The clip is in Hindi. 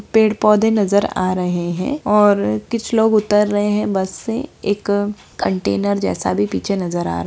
पेड़-पौधे नजर आ रहे है और किछ लोग उतर रहे है बस से एक कंटेनर जैसा भी पीछे नजर आ रहा --